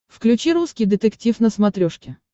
включи русский детектив на смотрешке